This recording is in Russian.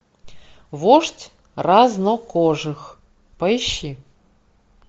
вождь разнокожих поищи